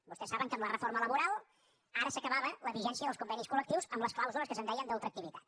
vostès saben que amb la reforma laboral ara s’acabava la vigència dels convenis col·lectius amb les clàusules que se’n deien d’ultraactivitat